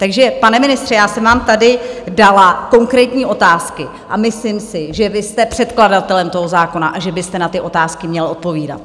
Takže pane ministře, já jsem vám tady dala konkrétní otázky a myslím si, že vy jste předkladatelem toho zákona a že byste na ty otázky měl odpovídat.